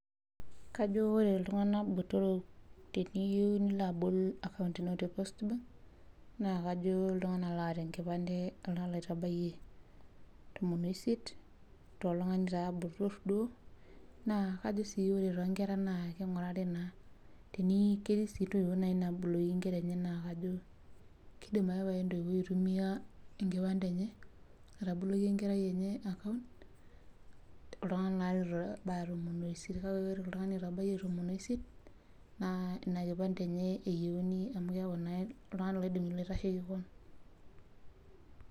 Kajo ore iltung'anak botorok teniyieu nilo abol akaunt ino te post bank, naa kajo iltung'anak loota enkipande oltung'ani loitabayie tomon oisiet, toltung'ani taa botor duo, naa kajo si ore tonkera na king'urari naa ketii si ntoiwuo naboloki inkera enye na kajo kidim ake pae entoiwuoi aitumia enkipande enye, ataboloki enkerai enye akaunt, oltung'ani litu itabaya tomon oisiet. Kake ore oltung'ani oitabayie tomon oisiet, naa ina kipande enye eyieuni amu keeku naa oltung'ani loidim ilo aitasheki kon.